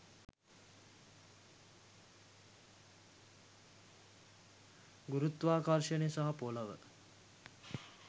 ගුරුත්වාකර්ශනය සහ පොලොව